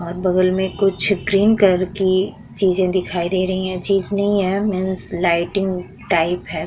और बगल में कुछ क्रीम कलर की चीज दिखाई दे रही है चीज नहीं है मीन्स लाइटिंग टाइप हैं।